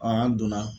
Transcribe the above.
an donna